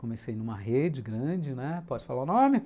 Comecei numa rede grande, né, pode falar o nome?